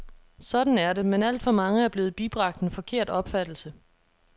Sådan er det, men alt for mange er blevet bibragt en forkert opfattelse.